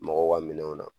Mɔgɔw ka minɛnw na